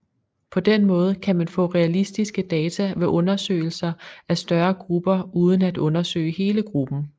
På den måde kan man få realistiske data ved undersøgelser af større grupper uden at undersøge hele gruppen